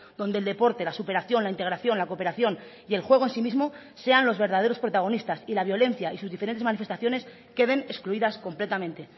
donde el deporte la superación la integración la cooperación y el juego en sí mismo sean los verdaderos protagonistas y la violencia y sus diferentes manifestaciones queden excluidas completamente